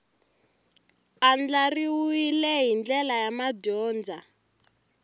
andlariwile hi ndlela ya madyondza